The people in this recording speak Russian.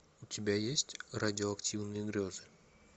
у тебя есть радиоактивные грезы